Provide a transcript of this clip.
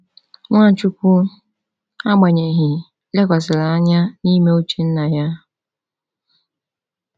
Nwachukwu, agbanyeghị, lekwasịrị anya n’ime uche Nna ya.